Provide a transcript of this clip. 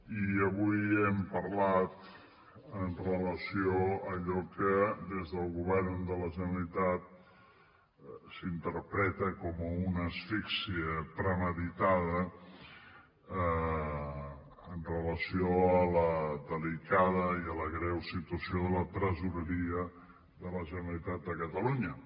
i avui hem parlat amb relació a allò que des del govern de la generalitat s’interpreta com una asfíxia premeditada amb relació a la delicada i a la greu situació de la tresoreria de la generalitat de catalunya